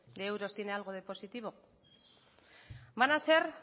de euros tiene algo de positivo van a ser